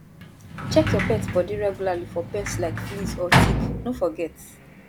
check your pet body regularly for pests like fleas or ticks no forget